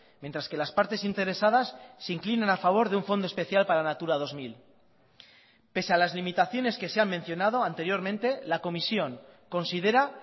mientras que las partes interesadas se inclinan a favor de un fondo especial para natura dos mil pese a las limitaciones que se han mencionado anteriormente la comisión considera